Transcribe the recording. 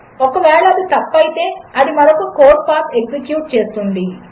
ఒకవేళఅదితప్పుఅయితే అదిమరొకకోడ్పాత్ఎక్సిక్యూట్చేస్తుంది